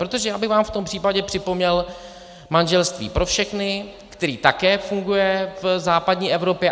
Protože já bych vám v tom případě připomněl manželství pro všechny, které také funguje v západní Evropě.